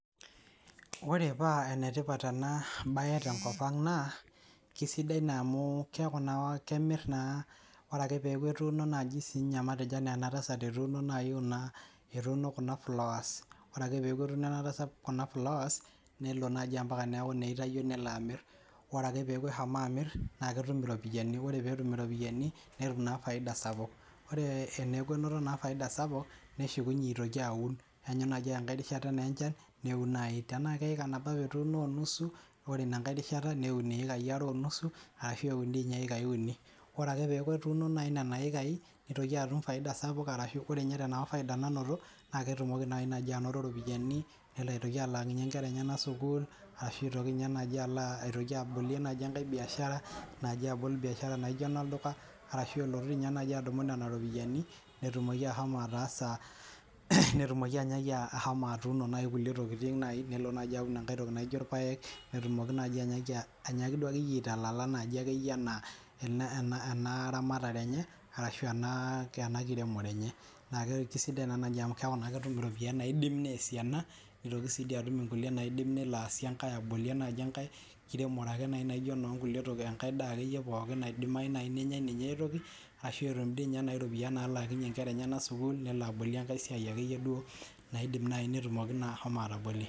ore paa enetipat ena bae tenkop ang naa kisidai naa amuu keeku naa kemir naa, ore ake peeku etuuno naaji sii ninye matejo anaa ena tasat etuuno naai kuna etuuno kuna flowers ore ake peeku etuuno kuna flowers nelo naaji mpaka neeku naa eitayio nelo amir, ore ake peeku eshomo amir naa ketum irooiani, ore peetum ropiani, netum naai faida sapuk, ore eneeku enoto naa faida sapuk, neshukunye aitoki awun, keenyu naaji ake enkae rishata naa enchan niwun naai, tenaa keeka nabo apa etuuno o nusu ore inankae rishata newun iekai are o nusu ashu ewun di ninye ekai uni, ore ake peeku etuuno naai nena ekai nitoki atum faida sapuk arashu, ore ninye tenapa faida nanoto naa ketumoki naai naaji anoto ropiani nelo aitoki alaakinye nkera enyenak sukuul, ashu itoki ninye naaji alo aa atoki abolie naaji enkae biashara naaji abol biashara naijo enolduka arashu elotu naaji adumu nena ropiani netumoki ashomo ataasa, netumoki anyaaki ashomo atuuno naaji kulie tokieing naai nelo naaji enkae toki naijo irpaek, netumoki naaji anyaaki aa anyaaki duo ake yie aitalala naaji ake yie ena ena ramatare enye arshu ena kiremore enye, naa kisidai amu keeku naa ketum iropiani naidim neesie ena nitoki sii dii atum nkulie naidim nelo aasie enkae ,abolie naaji enkae kiremore ake naijo enoonkulie, to enkae daa ake yie pooki naidimayu nenyae ninye aitoki ashuu etum di ninye naai ropiani nalaakinye nkera enyenak sukuul, nelo abolie enkae siai ake yie duo naidim naai netumoki naa ashomo atabolie.